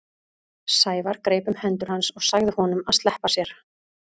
Sævar greip um hendur hans og sagði honum að sleppa sér.